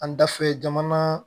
An da fɛ jamana